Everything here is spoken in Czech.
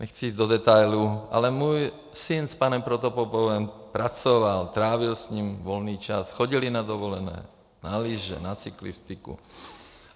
Nechci jít do detailů, ale můj syn s panem Protopopovem pracoval, trávil s ním volný čas, chodili na dovolené, na lyže, na cyklistiku.